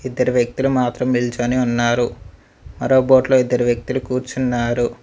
ఇద్దరు వ్యక్తులు మాత్రం నిల్చోని ఉన్నారు మరో బోట్లో ఇద్దరు వ్యక్తులు కూర్చున్నారు.